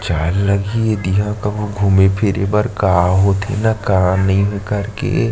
चार लगी दिहा कहुँ घूमे फिरे बर का होथे न का नई कर के--